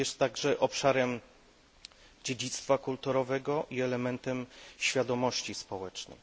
Jest także obszarem dziedzictwa kulturowego i elementem świadomości społecznej.